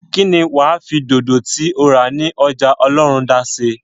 kí ni wà á fi dodo tí o rà ní ọjà ọlọ́rundá ṣe?